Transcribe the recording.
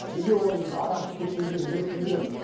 неге оның біз арақ ішіп кеткен кезін зерттей береміз